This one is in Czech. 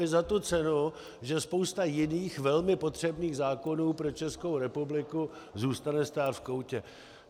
I za tu cenu, že spousta jiných velmi potřebných zákonů pro Českou republiku zůstane stát v koutě.